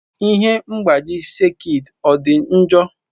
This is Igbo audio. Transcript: Ihe mgbaji sekit ọ dị njọ?